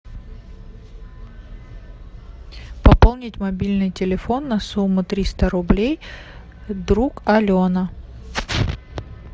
пополнить мобильный телефон на сумму триста рублей друг алена